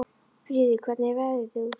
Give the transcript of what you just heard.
Fríður, hvernig er veðrið úti?